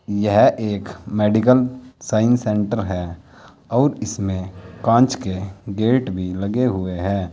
यह एक medical science centre है और इसमें कांच के गेट भी लगे हुए है।